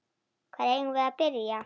Hvar eigum við að byrja?